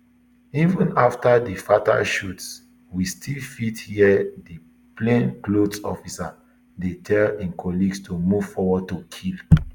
even afta di fatal shots we still fit hear di plainclothes officer dey tell im colleagues to move forward to kill